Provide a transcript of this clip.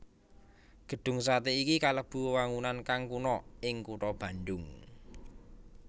Gedhung satè iki kalebu wewangunan kang kuna ing kutha Bandung